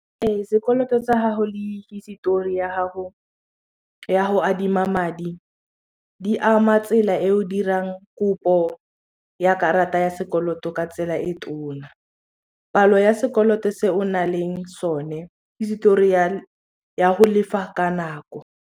Ee sekoloto tsa gago le hisitori ya gago ya go adima madi di ama tsela e o dirang kopo ya karata ya sekoloto ka tsela e tona, palo ya sekoloto se o na leng sone hisitori ya go lefa ka nako.